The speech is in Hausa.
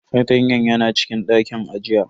Fartanyan yana cikin dakin ajiya.